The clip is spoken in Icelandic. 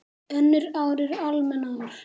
Önnur ár eru almenn ár.